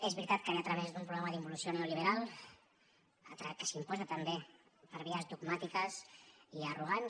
és veritat que ve a través d’un programa d’involució neoliberal que s’imposa també per vies dogmàtiques i arrogants